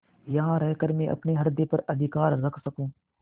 यहाँ रहकर मैं अपने हृदय पर अधिकार रख सकँू